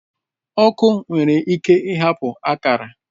Ọkụ nwere ike ịhapụ akara